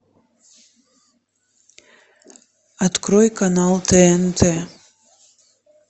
открой канал тнт